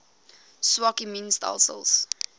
swak immuun stelsels